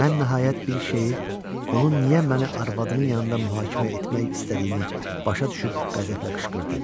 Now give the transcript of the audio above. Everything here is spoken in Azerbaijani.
Mən nəhayət bir şeyi, onun niyə məni arvadının yanında mühakimə etmək istədiyini başa düşüb qəzəblə qışqırdım.